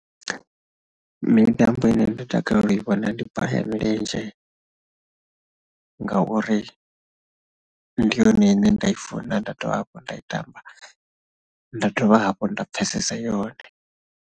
Mitambo ine ndo takalela i vhona ndi bola ya milenzhe ngauri ndi yone ine nda i funa nda dovha hafhu nda i tamba, nda dovha hafhu nda pfhesesa yone.